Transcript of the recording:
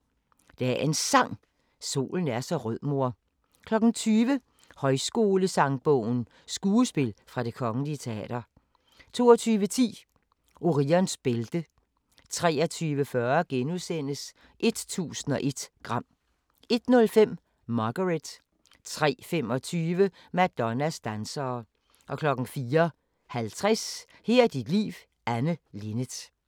19:55: Dagens Sang: Solen er så rød mor * 20:00: Højskolesangbogen – skuespil fra Det Kgl. Teater 22:10: Orions bælte 23:40: 1001 gram * 01:05: Margaret 03:25: Madonnas dansere 04:50: Her er dit liv – Anne Linnet